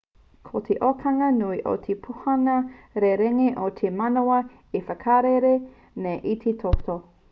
ko te okana nui o te pūnaha rerenga ko te manawa e whakarere nei i te toto